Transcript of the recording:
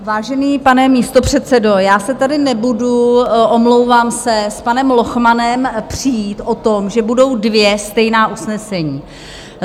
Vážený pane místopředsedo, já se tady nebudu, omlouvám se, s panem Lochmanem přít o tom, že budou dvě stejná usnesení.